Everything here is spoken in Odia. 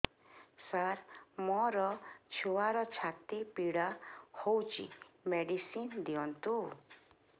ସାର ମୋର ଛୁଆର ଛାତି ପୀଡା ହଉଚି ମେଡିସିନ ଦିଅନ୍ତୁ